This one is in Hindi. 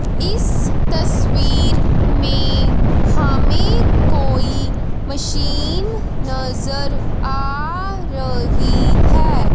इस तस्वीर में हमें कोई मशीन नजर आ रही है।